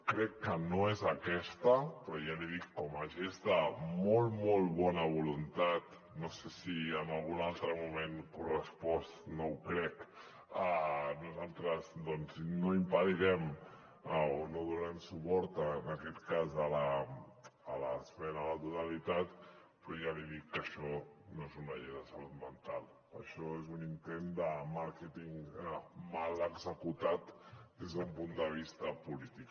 crec que no és aquesta però ja li dic com a gest de molt molt bona voluntat no sé si en algun altre moment correspost no ho crec nosaltres no impedirem o no donarem suport en aquest cas a l’esmena a la totalitat però ja li dic que això no és una llei de salut mental això és un intent de màrqueting mal executat des d’un punt de vista polític